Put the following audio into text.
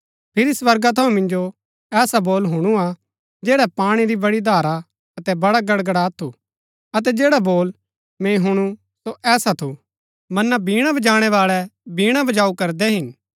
फिरी स्वर्गा थऊँ मिन्जो ऐसा बोल हुणुआ जैडा पाणी री बड़ी धारा अतै वड़ा गड़गड़ात थू अतै जैडा बोल मैंई हुणु सो ऐसा थू मना वीणा बजाणैवाळै वीणा बजाऊ करदै हिन